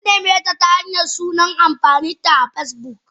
Nanimeta ta Hanyar sunan amfaninta a Facebook.